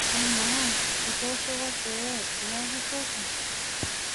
Amaa, kitooshoko pee iyaki toki?